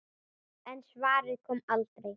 En svarið kom aldrei.